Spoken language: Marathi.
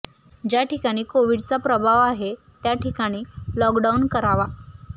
ज्या ठिकाणी कोवीडचा प्रभाव आहे त्या ठिकाणी लॉकडाऊन करावा